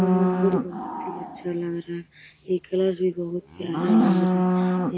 ई मंदिल बहोत ही अच्छा लग रहा है। ई कलश भी बहोत प्यारा लग रहा है।